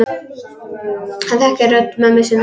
Hann þekkir rödd mömmu sinnar.